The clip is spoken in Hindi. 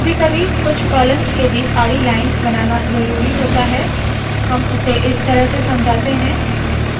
कभी कभी कुछ कॉलम्स के बीच आडी लाइन्स बनाना ज़रूरी होता है हम उसे इस तरह से समझाते है